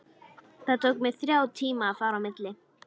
Það tók mig þrjá tíma að fara á milli.